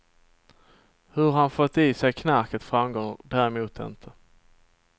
Hur han fått i sig knarket framgår däremot inte.